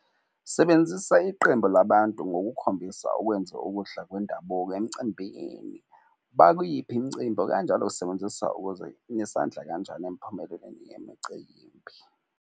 Sebenzisa iqembu labantu ngokukhombisa ukwenze ukudla kwendabuko emicimbini. Bakuyiphi imicimbi okanjalo sisebenzisa ukuze nesandla kanjani empumelelweni yemicimbi.